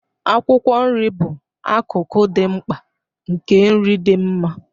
Akwụkwọ nri bụ akụkụ dị mkpa nke nri dị mma.